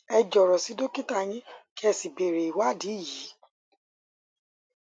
ẹ jọrọ sí dókítà yín kí ẹ sì béèrè ìwádìí yìí